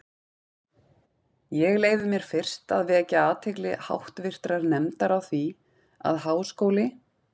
Ég leyfi mér fyrst að vekja athygli háttvirtrar nefndar á því, að Háskóli